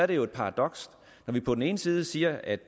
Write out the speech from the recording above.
det jo et paradoks at vi på den ene side siger at